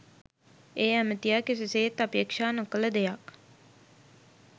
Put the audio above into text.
ඒ ඇමතියා කිසිසේත් අපේක්ෂා නොකළ දෙයක්.